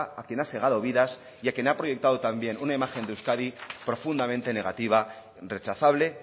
a quien ha segado vidas y a quien ha proyectado también una imagen de euskadi profundamente negativa rechazable